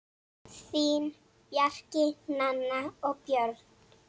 Þín, Bjarki, Nanna og Björn.